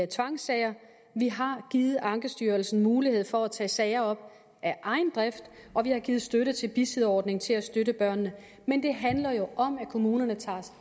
tvangssager vi har givet ankestyrelsen mulighed for at tage sager op af egen drift og vi har givet støtte til bisidderordningen til at støtte børnene men det handler jo om at kommunerne tager